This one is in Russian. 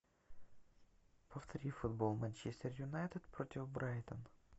повтори футбол манчестер юнайтед против брайтон